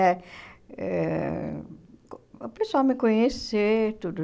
Eh eh o pessoal me conhecer, tudo.